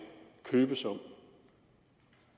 købesum